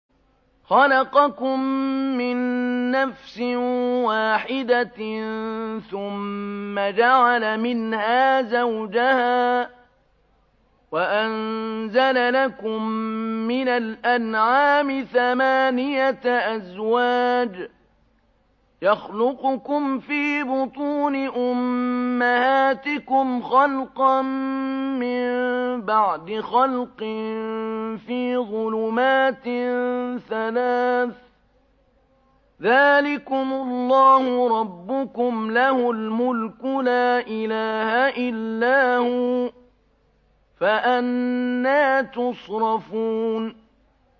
خَلَقَكُم مِّن نَّفْسٍ وَاحِدَةٍ ثُمَّ جَعَلَ مِنْهَا زَوْجَهَا وَأَنزَلَ لَكُم مِّنَ الْأَنْعَامِ ثَمَانِيَةَ أَزْوَاجٍ ۚ يَخْلُقُكُمْ فِي بُطُونِ أُمَّهَاتِكُمْ خَلْقًا مِّن بَعْدِ خَلْقٍ فِي ظُلُمَاتٍ ثَلَاثٍ ۚ ذَٰلِكُمُ اللَّهُ رَبُّكُمْ لَهُ الْمُلْكُ ۖ لَا إِلَٰهَ إِلَّا هُوَ ۖ فَأَنَّىٰ تُصْرَفُونَ